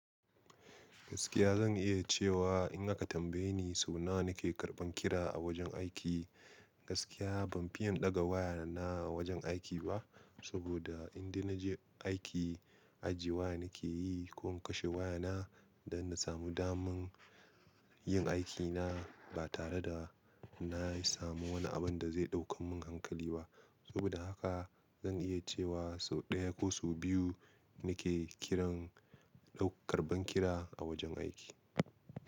Gaskiya zan iya cewa in aka tambaye ni sau nawa na ke karban kira a wajen aiki, gaskiya ban fiya ɗaga waya na wajen aiki ba. Saboda indai na je aiki, ajiye waya na ke yi ko in kashe waya na don na samu daman yin aiki na ba tare da na samu wani abin da zai ɗaukan mun hankali ba. Saboda haka zan iya cewa sau ɗaya ko sau biyu na ke kiran karban kira a wajen aiki.